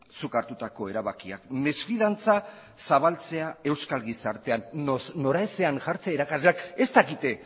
zuk hartutako erabakiak mesfidantza zabaltzea euskal gizartean noraezean jartzea irakasleak ez dakite